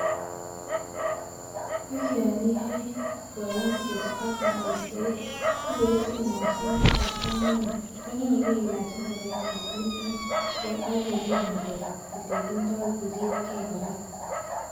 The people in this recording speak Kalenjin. Ak yon iyoe koyomset ak ngoiset iboishen mashinitab komonut konyolu ilaach ingoroik che kilumen gee ak irib ngalek ab tililindo ak irib gee kora.